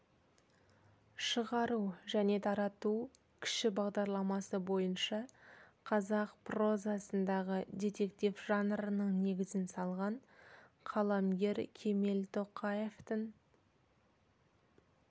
шығару және тарату кіші бағдарламасы бойынша қазақ прозасындағы детектив жанрының негізін салған қаламгер кемел тоқаевтың